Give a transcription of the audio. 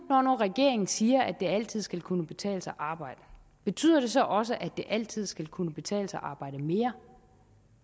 regeringen siger at det altid skal kunne betale sig at arbejde betyder det så også at det altid skal kunne betale sig at arbejde mere